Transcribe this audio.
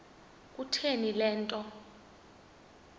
kutheni le nto